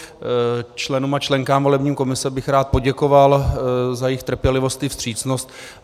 Členům a členkám volební komise bych rád poděkoval za jejich trpělivost a vstřícnost.